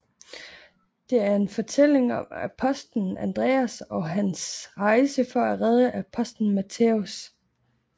Det er fortællingen om apostelen Andreas og hans rejse for at redde apostelen Mattæus